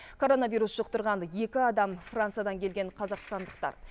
коронавирус жұқтырған екі адам франциядан келген қазақстандықтар